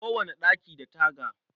Kowane ɗaki da taga.